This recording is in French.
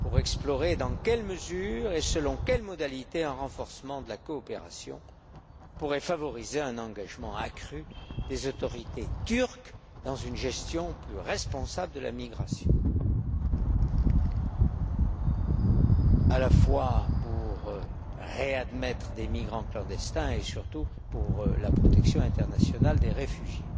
pour explorer dans quelle mesure et selon quelles modalités un renforcement de la coopération pourrait favoriser un engagement accru des autorités turques dans une gestion plus responsable de la migration, à la fois pour réadmettre des migrants clandestins et surtout pour la protection internationale des réfugiés.